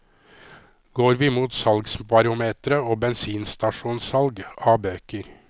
Går vi mot salgsbarometre og bensinstasjonsalg av bøker?